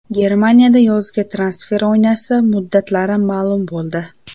Germaniyada yozgi transfer oynasi muddatlari ma’lum bo‘ldi.